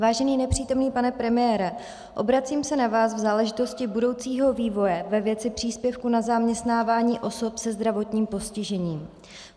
Vážený nepřítomný pane premiére, obracím se na vás v záležitosti budoucího vývoje ve věci příspěvku na zaměstnávání osob se zdravotním postižením.